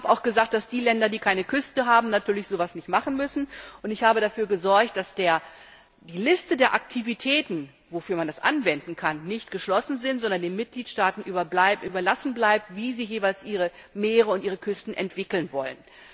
Ich habe auch gesagt, dass die Länder, die keine Küste haben, natürlich so etwas nicht machen müssen, und ich habe dafür gesorgt, dass die Liste der Aktivitäten, für die man das anwenden kann, nicht geschlossen ist, sondern es den Mitgliedstaaten überlassen bleibt, wie sie jeweils ihre Meere und ihre Küsten entwickeln wollen.